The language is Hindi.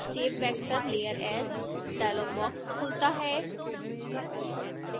save vector layer as dialogue box खुलता है